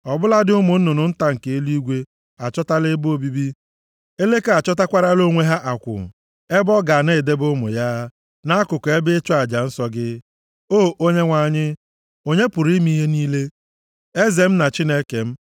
Ọ bụladị ụmụ nnụnụ nta nke eluigwe, achọtala ebe obibi; eleke achọtakwarala onwe ya akwụ, ebe ọ ga na-edebe ụmụ ya, nʼakụkụ ebe ịchụ aja nsọ gị, O Onyenwe anyị, Onye pụrụ ime ihe niile, Eze m na Chineke m.